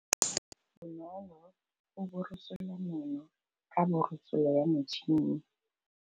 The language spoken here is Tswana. Bonolô o borosola meno ka borosolo ya motšhine.